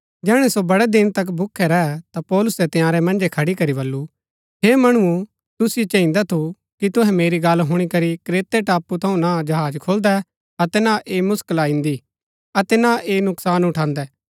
जैहणै सो बड़ै दिन तक भूखै रै ता पौलुसै तंयारै मन्जै खड़ी करी बल्लू हे मणुओ तुसिओ चाहिदा थु कि तुहै मेरी गल्ल हुणी करी क्रेते टापू थऊँ ना जहाज खोलदै अतै ना ऐह मुसकिला इन्दी अतै ना ऐह नुकसान उठान्दै